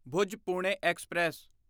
Bhuj Pune express